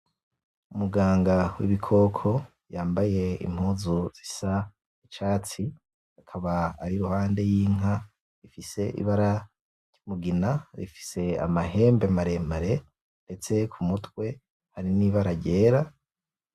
Umuganga w'ibikoko yambaye impuzu zisa n'icatsi. Akaba ari iruhande y'inka ifise ibara ry'umugina. Ifise amahembe maremare. Ndetse ku mutwe hari n'ibara ryera.